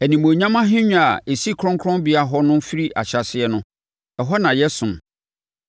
Animuonyam ahennwa a ɛsi kronkronbea hɔ no firi ahyɛaseɛ no, ɛhɔ na yɛsom.